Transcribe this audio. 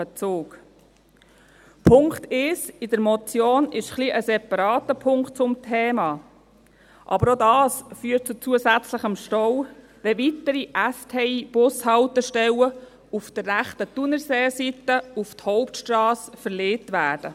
Der Punkt 1 der Motion ist ein separater Punkt zum Thema, aber auch dies führt zu zusätzlichem Stau: wenn weitere STI-Bushaltestellen auf der rechten Thunerseeseite auf die Hauptstrasse verlegt werden.